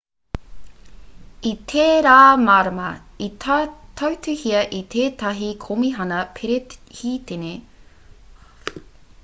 i tērā marama i tautuhia e tētahi komihana perehitene te rihainatanga o te cep o mua hei wāhanga o tētahi kete kaupapa hei whakaneke i te whenua ki ngā pōti hou